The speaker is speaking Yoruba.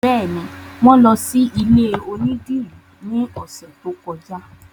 Bẹ́ẹ̀ni, wọn lọ sí ilé onídìrí ní ọ̀sẹ̀ tó kọjá